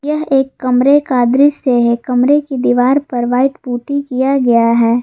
यह एक कमरे का दृश्य है कमरे के दीवार पर व्हाइट पुट्टी किया हुआ है।